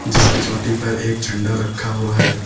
जिसकी चोटी पर एक झंडा रखा हुआ है।